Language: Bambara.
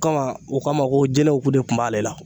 Kama u k'a ma ko jinɛw ko de kun b'ale la